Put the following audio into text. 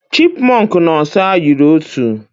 Chipmunk na osa yiri otu.